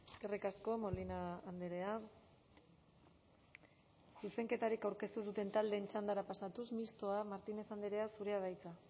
eskerrik asko molina andrea zuzenketarik aurkeztu ez duten taldeen txandara pasatuz mistoa martínez andrea zurea da hitza